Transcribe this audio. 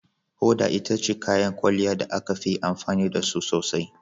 Hoda ita ce kayan kwalliya da ake amfani da su sosai.